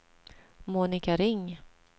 Monika Ring